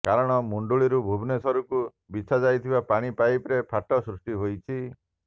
କାରଣ ମୁଣ୍ଡୁଳିରୁ ଭୁବନେଶ୍ୱରକୁ ବିଛା ଯାଇଥିବା ପାଣି ପାଇପ୍ରେ ଫାଟ ସୃଷ୍ଟି ହୋଇଛି